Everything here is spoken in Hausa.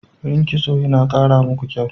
Yin Kitso yana kara muku kyau.